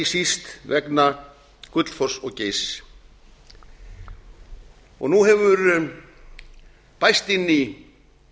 síst vegna gullfoss og geysis nú hefur bæst inn í